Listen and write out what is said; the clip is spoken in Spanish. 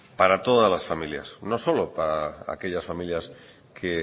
para todas las familias no solo para aquellas familias que